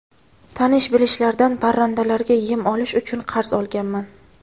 Tanish-bilishlardan parrandalarga yem olish uchun qarz olganman.